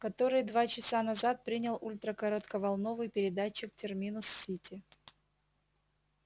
которые два часа назад принял ультракоротковолновый передатчик терминус-сити